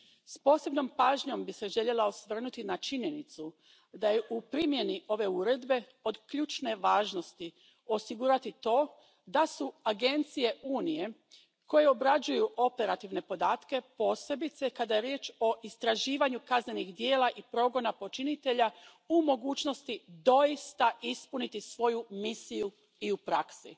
S posebnom bih se pažnjom željela osvrnuti na činjenicu da je u primjeni ove Uredbe od ključne važnosti osigurati to da su agencije Unije koje obrađuju operativne podatke, posebice kada je riječ o istraživanju kaznenih djela i progona počinitelja, u mogućnosti doista ispuniti svoju misiju i u praksi.